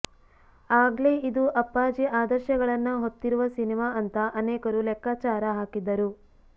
ಆಗ್ಲೇ ಇದು ಅಪ್ಪಾಜಿ ಆದರ್ಶಗಳನ್ನ ಹೊತ್ತಿರುವ ಸಿನಿಮಾ ಅಂತ ಅನೇಕರು ಲೆಕ್ಕಾಚಾರ ಹಾಕಿದ್ದರು